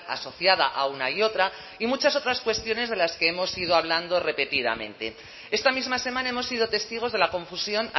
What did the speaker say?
asociada a una y otra y muchas otras cuestiones de las que hemos ido hablando repetidamente esta misma semana hemos sido testigos de la confusión